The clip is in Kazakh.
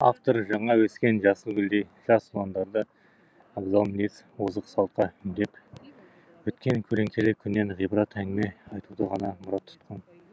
автор жаңа өскен жасыл гүлдей жас ұландарды абзал мінез озық салтқа үндеп өткен көлеңкелі күннен ғибрат әңгіме айтуды ғана мұрат тұтқан